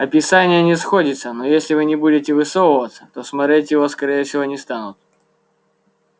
описание не сходится но если вы не будете высовываться то смотреть его скорее всего не станут